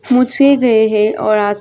पूछे गए हैं और आस-पास--